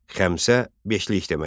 Xəmsə beşlik deməkdir.